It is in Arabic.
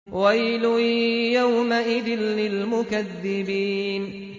وَيْلٌ يَوْمَئِذٍ لِّلْمُكَذِّبِينَ